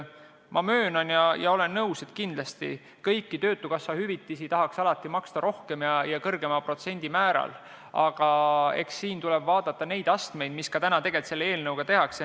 Ma möönan ja olen nõus, et kõiki töötukassa hüvitisi tahaks alati maksta rohkem ja kõrgema protsendimääraga, aga eks siin tuleb vaadata neid astmeid, mis ka praegu tegelikult selle eelnõuga tehakse.